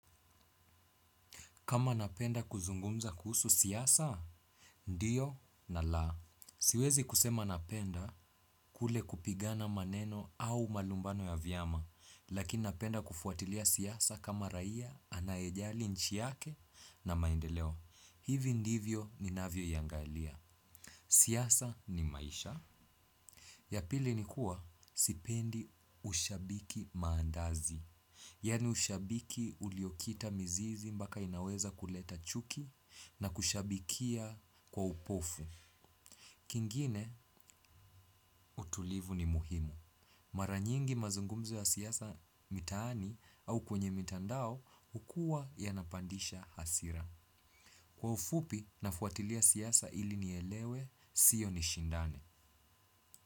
Kama napenda kuzungumza kuhusu siasa? Ndiyo na la. Siwezi kusema napenda kule kupigana maneno au malumbano ya vyama, lakini napenda kufuatilia siasa kama raia anaejali nchi yake na maendeleo. Hivi ndivyo ninavyo iangalia. Siyasa ni maisha. Ya pili ni kuwa sipendi ushabiki maandazi. Yani ushabiki uliokita mizizi mpaka inaweza kuleta chuki na kushabikia kwa upofu. Kingine, utulivu ni muhimu. Maranyingi mazungumzo ya siasa mitaani au kwenye mitandao hukua yanapandisha hasira. Kwa ufupi, nafuatilia siasa ili nielewe, sio nishindane.